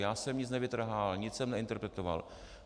Já jsem nic nevytrhával, nic jsem neinterpretoval.